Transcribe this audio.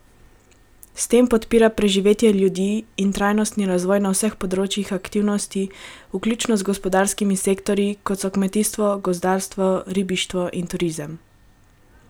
S tem podpira preživetje ljudi in trajnostni razvoj na vseh področjih aktivnosti, vključno z gospodarskimi sektorji, kot so kmetijstvo, gozdarstvo, ribištvo in turizem.